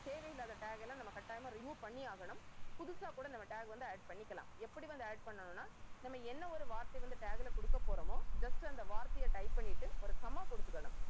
தேவையில்லாத tag எல்லாம் நம்ம கட்டாயமா remove பண்ணி ஆகணும். புதுசா கூட நம்ம tag வந்து add பண்ணிக்கலாம். எப்படி வந்து add பண்ணணும்ன்னா நம்ம என்ன ஒரு வார்த்தை வந்து tag ல கொடுக்கப் போறோமோ just அந்த வார்த்தையை type பண்ணிட்டு ஒரு comma கொடுத்துக்கணும்